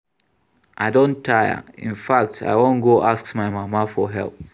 I don tire, in fact I wan go ask my mama for help